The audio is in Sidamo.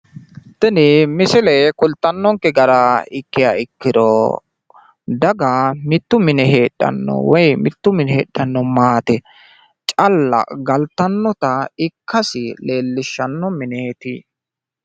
Tini misile kulttannonkke gara ikkiha ikkiro daga mittu mine heedhanno woyi mitto mine heedhanno maate calla galttannota ikkasi leellishanno mineeti.